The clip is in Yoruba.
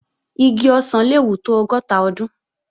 Igi ọ̀sán le wù tó ọgọ́ta ọdún